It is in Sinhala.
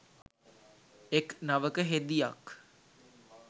එක් නවක හෙදියක්